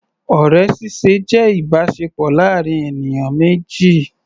Ọ̀rẹ́ ṣíṣe jẹ́ ìbáṣepọ̀ láàrin ènìyàn méjì.